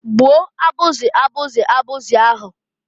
Gbuo abuzi abụzị abụzị ahụ!